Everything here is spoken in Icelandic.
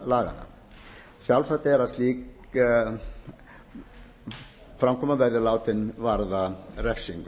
laganna sjálfsagt er að slík framkoma verði látin varða refsingu